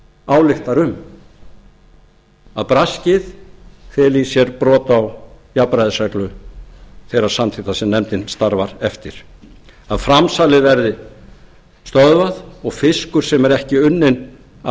ályktar um að braskið feli í sér brot á jafnræðisreglu þeirra samþykkta sem nefndin starfar eftir að framsalið verði stöðvað og fiskur sem er ekki unnin af